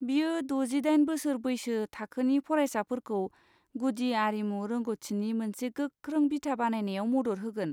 बियो द'जि दाइन बोसोर बैसो थाखोनि फरायसाफोरखौ गुदि आरिमु रोंग'थिनि मोनसे गोख्रों बिथा बानायनायाव मदद होगोन।